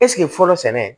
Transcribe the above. Ɛseke fɔlɔ sɛnɛ